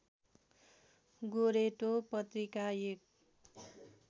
गोरेटो पत्रिका एक